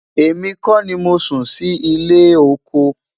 èmi kò ní Mosún Si ile ọkọ